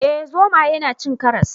Eh zomaye na cin karas